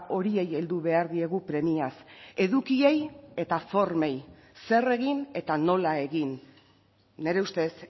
horiei heldu behar diegu premiaz edukiei eta formei zer egin eta nola egin nire ustez